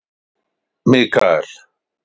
Mikael